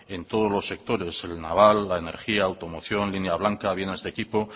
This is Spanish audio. en todos los sectores en el naval la energía automoción línea blanca bienes de equipo